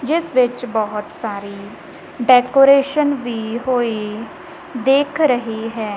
ਜਿਸ ਵਿੱਚ ਬਹੁਤ ਸਾਰੀ ਡੈਕੋਰੇਸ਼ਨ ਵੀ ਹੋਈ ਦਿਖ ਰਹੀ ਹੈ।